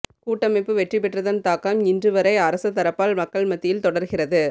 கூட்டமைப்பு வெற்றி பெற்றதன் தாக்கம் இன்று வரை அரசதரப்பால் மக்கள் மத்தியில் தொடர்கிறது